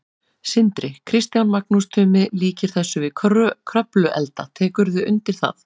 Sindri: Kristján, Magnús Tumi líkir þessu við Kröfluelda, tekurðu undir það?